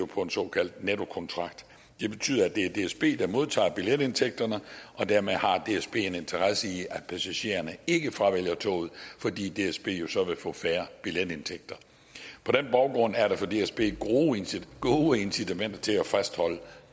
på en såkaldt nettokontrakt det betyder at det er dsb der modtager billetindtægterne og dermed har dsb en interesse i at passagererne ikke fravælger toget fordi dsb jo så vil få færre billetindtægter på den baggrund er der for dsb gode incitamenter til at fastholde